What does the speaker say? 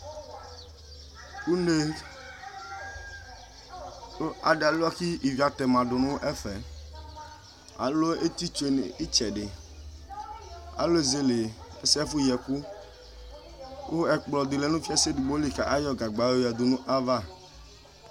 Une kʋ adi aluia kʋ ivi atɛma dʋnʋ ɛfɛ alʋ ɛtitsue nʋ itsɛdi alʋ ezele ɛfʋ yi ɛkɔ kʋ ɛkplɔdi lɛ fiase edigboli kʋ ayɔ gagba yoyɔdʋ nʋ ayʋ ava